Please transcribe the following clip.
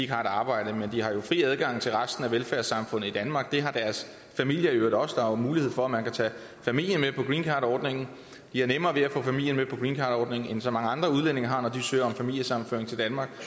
har et arbejde men de har jo fri adgang til resten af velfærdssamfundet i danmark og det har deres familie i øvrigt også der er jo mulighed for at man kan tage familien med på greencardordningen de har nemmere ved at få familien med på greencardordningen end så mange andre udlændinge har når de søger om familiesammenføring til danmark